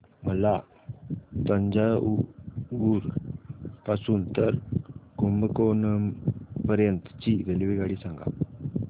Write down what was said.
मला तंजावुर पासून तर कुंभकोणम पर्यंत ची रेल्वेगाडी सांगा